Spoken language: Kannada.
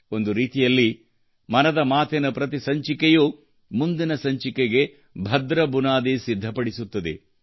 ಒಂದು ರೀತಿಯಲ್ಲಿ ಮನದ ಮಾತಿನ ಪ್ರತಿ ಸಂಚಿಕೆಯೂ ಮುಂದಿನ ಸಂಚಿಕೆಗೆ ಭದ್ರ ಬುನಾದಿ ಸಿದ್ಧಪಡಿಸುತ್ತದೆ